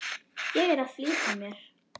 Ég er að flýta mér!